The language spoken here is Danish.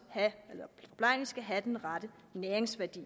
have den rette næringsværdi